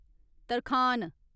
तरखान